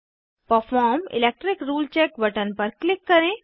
perform electric rule check button पर click करें